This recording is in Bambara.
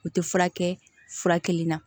U tɛ furakɛ fura kelen na